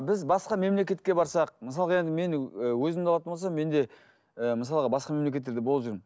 біз басқа мемлекетке барсақ мысалға енді мен өзімді алатын болсам мен де ііі мысалға басқа мемлекеттерде болып жүрмін